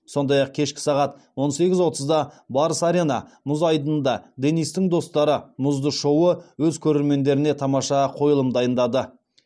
сондай ақ кешкі сағат он сегіз отызда барыс арена мұз айдынында денистің достары мұзды шоуы өз көрермендеріне тамаша қойылым дайындады